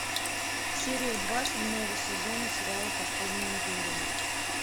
серия два седьмого сезона сериала подпольная империя